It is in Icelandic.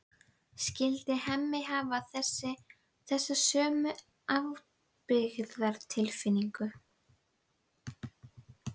Skyldi Hemmi hafa þessa sömu ábyrgðartilfinningu?